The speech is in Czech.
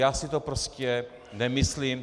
Já si to prostě nemyslím.